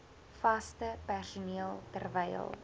vaste personeel terwyl